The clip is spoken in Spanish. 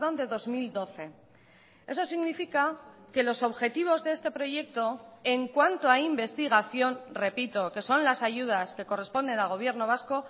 de dos mil doce eso significa que los objetivos de este proyecto en cuanto a investigación repito que son las ayudas que corresponden al gobierno vasco